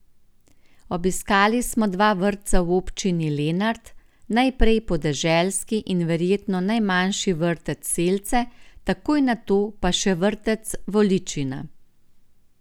Obiskali so dva vrtca v občini Lenart, najprej podeželski in verjetno najmanjši vrtec Selce, takoj nato pa še vrtec Voličina.